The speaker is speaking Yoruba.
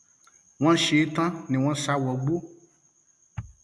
wọn ṣe é tán ni wọn sá wọgbó